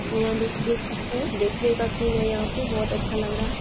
यहाँ देख देख सकते हैं। देखने का सीन है यहाँ पे। बोहोत अच्छा लग रहा है।